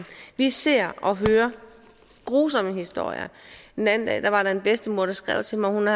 vi ser og hører grusomme historier den anden dag var der en bedstemor der skrev til mig at